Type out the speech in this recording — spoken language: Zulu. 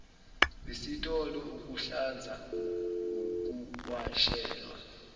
esitolo ukuhlanza ukuwashelwa